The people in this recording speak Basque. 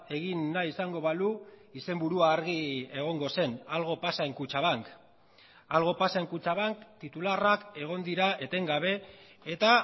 egin nahi izango balu izenburua argi egongo zen algo pasa en kutxabank algo pasa en kutxabank titularrak egon dira etengabe eta